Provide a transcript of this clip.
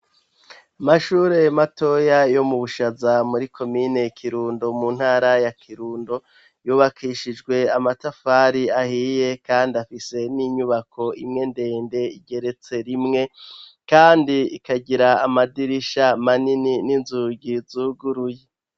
Amashure matoya yo mu bushaza muri komine kirundo mu ntara ya kirundo yubakishijwe amatafari ahiye kandi afise n'inyubako imwe ndende igeretse rimwe kandi ikagira amadirisha manini n'inzugi zuguruye.